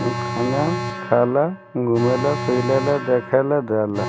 खाना खाला घुमेला फिलेला देखेला देलअ।